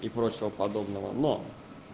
и прочего подобного но